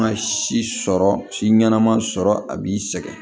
si sɔrɔ si ɲanama sɔrɔ a b'i sɛgɛn